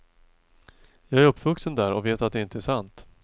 Jag är uppvuxen där och vet att det inte är sant.